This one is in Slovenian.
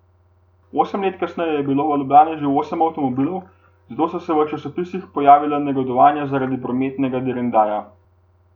Osem let kasneje je bilo v Ljubljani že osem avtomobilov, zato so se v časopisih že pojavila negodovanja zaradi prometnega direndaja.